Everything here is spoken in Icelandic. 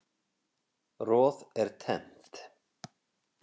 Roð er tennt.